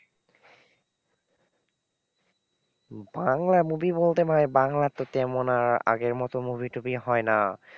Bangla movie বলতে ভাই বাংলা তো তেমন আর আগের মতো movie টুভি হয়না।